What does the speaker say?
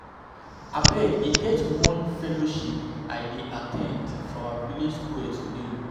Abeg e get one fellowship I dey at ten d for our village square today